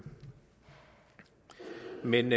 men